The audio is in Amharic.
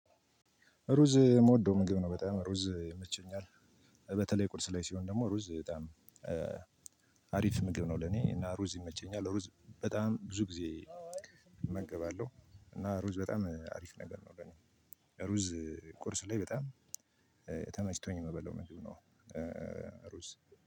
ሩዝ የምወደው ምግብ ነው በጣም ሩዝ ይመቸኛል። በተለይ ቁርስ ላይ ሲሆን ደግሞ ሩዝ በጣም አሪፍ ምግብ ነው ለኔ እና ሩዝ ይመቸኛል። ሩዝ በጣም ብዙ ጊዜ እመገባለሁ እና ሩዝ በጣም አሪፍ ነገር ነው ለኔ። ሩዝ ቁርስ ላይ በጣም ተመችቶኝ የምበለው ምግብ ነው ሩዝ።